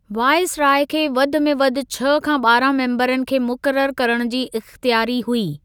Viceroy खे वधि में वधि छह खां ॿारहां मेम्बरनि खे मुक़रर करण जी इख़्तियारी हुई।